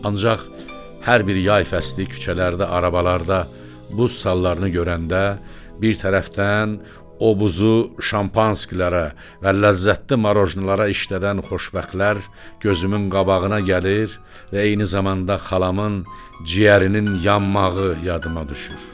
Ancaq hər bir yaz fəsli küçələrdə, arabalarda buz salların görəndə, bir tərəfdən o buzu şampanslara və ləzzətli marojnalara işlədən xoşbəxtlər gözümün qabağına gəlir, və eyni zamanda xalamın ciyərinin yanmağı yadıma düşür.